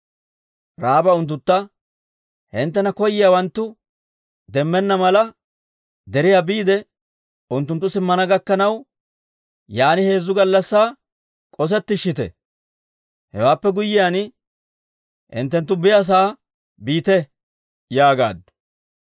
Ra'aaba unttuntta, «Hinttena koyiyaawanttu demmenna mala, deriyaa biide unttunttu simmana gakkanaw, yaan heezzu gallassaa k'osettishshite. Hewaappe guyyiyaan hinttenttu biyaasa'aa biite» yaagaaddu.